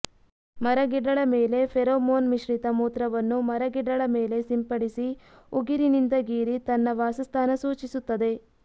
ಮರಗಿಡಳ ಮೇಲೆ ಫೆರಮೋನ್ ಮಿಶ್ರಿತ ಮೂತ್ರವನ್ನು ಮರಗಿಡಳ ಮೇಲೆ ಸಿಂಪಡಿಸಿ ಉಗುರಿನಿಂದ ಗೀರಿ ತನ್ನ ವಾಸಸ್ಥಾನ ಸೂಚಿಸುತ್ತದೆ